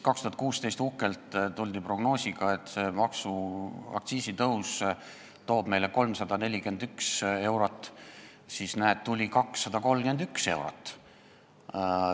2016 tuldi uhkelt prognoosiga, et aktsiisitõus toob meile 341 miljonit eurot, aga näed, tuli 231 miljonit eurot.